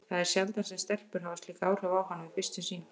Það er sjaldan sem stelpur hafa haft slík áhrif á hann við fyrstu sýn.